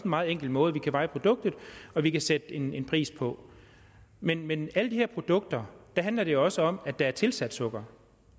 meget enkel måde vi kan veje produktet og vi kan sætte en en pris på men med alle de her produkter handler det jo også om at der er tilsat sukker